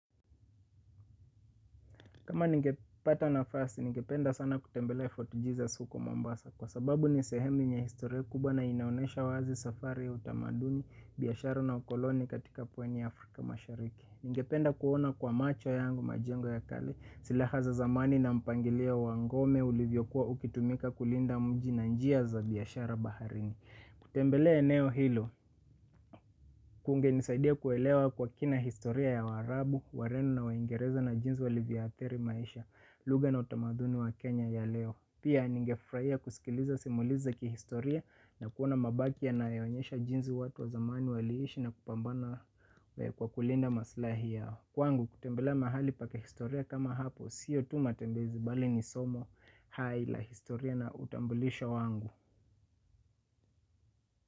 Kama ningepata na fasi, ningependa sana kutembelea Fort Jesus huko Mombasa kwa sababu ni sehemu yenye historia kubwana inaonesha wazi safariya utamaduni, biashara na ukoloni katika pwaniya Afrika mashariki. Ningependa kuona kwa macho yangu majengo ya kale, sila haza zamani na mpangilio wangome ulivyo kuwa ukitumika kulinda mji na njia za biashara baharini. Kutembelea eneo hilo, kunge nisaidia kuelewa kwa kina historia ya waarabu, wareno na waingereza na jinsi walivyoadhiri maisha. Lugha na utamaduni wa Kenya ya leo. Pia ningefurahia kusikiliza simuliziza kihistoria na kuona mabaki ya nayoonyesha jinsi watu wa zamani waliishi na kupambana kwa kulinda maslahi yao kwangu kutembelea mahali paki historia kama hapo. Sio tu matembezi bali ni somo hai la historia na utambulisho wangu.